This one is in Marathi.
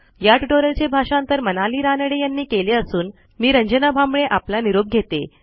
या ट्युटोरियलचे भाषांतर मनाली रानडे यांनी केले असून मी रंजना भांबळे आपला निरोप घेते